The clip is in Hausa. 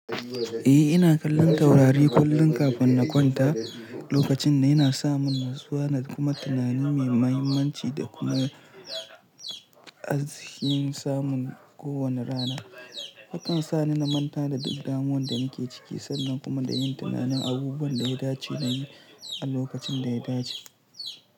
Eh, ina kallon Taurari kullum kafin na kwanta, lokacin yana sa mun natsuwa da kuma tunani mai mahimmanci da kuma Arzikin samun kowanne rana. Hakan sa ni na manta da duk damuwan da nake ciki sannan kuma na yi tunanin abubuwan da ya dace da ni a lokacin da ya dace.